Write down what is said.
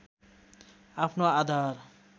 आफ्नो आधार